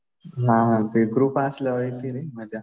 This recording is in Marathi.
हा हा. ते ग्रुप असल्यावर येती रे मजा.